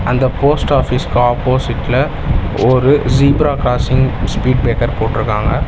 அந்த போஸ்ட் ஆஃபீஸ்க்கு ஆப்போசிட்ல ஓரு ஜீப்ரா கிராசிங் ஸ்பீட் பிரேக்கர் போட்ருக்காங்க.